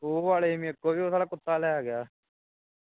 ਉਹ ਵਾਲੇ ਮੇਰੇ ਕੋਲ ਵੀ ਸੀ ਸਾਲਾ ਕੁੱਤਾ ਲੈ ਗਿਆ